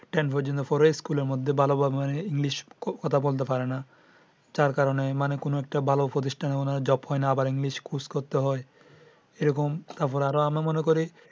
Ten পর্যন্ত পড়ে স্কুলে মধ্যে ভালো english কথা বলতে পারে না যার কারণে মানে কোনো একটা ভালো প্রতিষ্ঠানে উনার job হয় না আবার englishcourse করতে হয়। এই রকম আমরা আরো আমরা মনে করি।